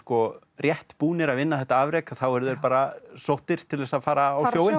rétt búnir að vinna þetta afrek að þá eru þeir bara sóttir til þess að fara